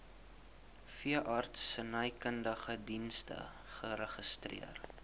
veeartsenykundige dienste geregistreer